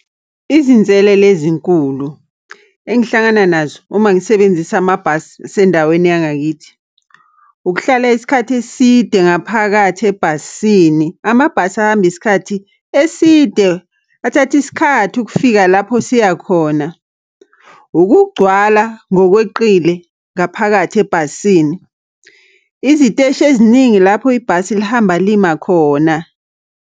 Izinselele ezinkulu engihlangana nazo uma ngisebenzisa amabhasi asendaweni yangakithi. Ukuhlala isikhathi eside ngaphakathi ebhasini. Amabhasi ahamba isikhathi eside, athatha isikhathi ukufika lapho siya khona. Ukugcwala ngokweqile ngaphakathi ebhasini. Iziteshi eziningi lapho ibhasi lihamba limal khona.